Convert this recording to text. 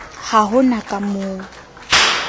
ha ho na ka moo